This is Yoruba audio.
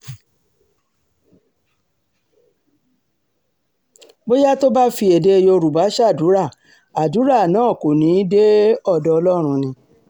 bóyá tó bá sì fi èdè yorùbá ṣàdúrà àdúrà náà kò ní í dé ọ̀dọ̀ ọlọ́run ni